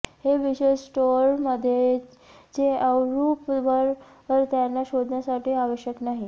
हे विशेष स्टोअरमध्ये चे अव रुप वर त्यांना शोधण्यासाठी आवश्यक नाही